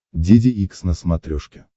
деде икс на смотрешке